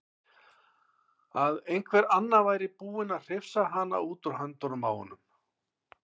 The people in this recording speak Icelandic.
Að einhver annar væri búinn að hrifsa hana út úr höndunum á honum.